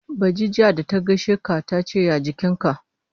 Ba ji jiya ta gaishe ka ta ce ya jikinka.